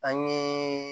An ye